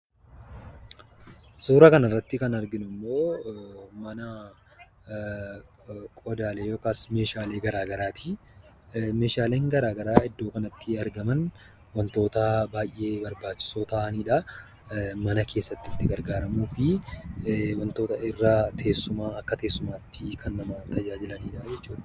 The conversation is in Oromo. Suuraa kan irratti kan arginu ammoo mana qodaalee yookaas meeshaalee gara garaati. Meeshaleen gara garaa iddoo kanatti argaman wantoota baay'ee barbaachisoo ta'aniidha. Mana keessatti itti gargaaramuufi wantoota akka teessumaatti kan nama tajaajilaniidha.